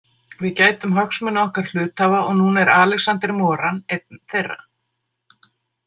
Við gætum hagsmuna okkar hluthafa og núna er Alexander Moran einn þeirra.